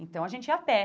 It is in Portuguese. Então, a gente ia a pé.